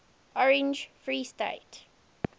orange free state